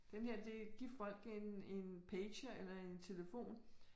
Den her det give folk en en pager eller en telefon